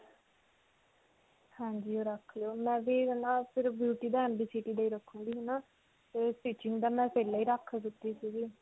ਹਾਂਜੀ. ਰੱਖ ਲਿਓ. ਮੈਂ ਵੀ ਹੈ ਨਾ ਫਿਰ beauty ਦਾ ਦਾ ਹੀ ਰੱਖੂੰਗੀ ਹੈ ਨਾ. ਤੇ stitching ਪਹਿਲਾਂ ਹੀ ਰੱਖ ਦਿੱਤੀ ਸਿਗੀ.